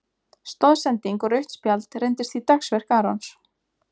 Stoðsending og rautt spjald reyndist því dagsverk Arons.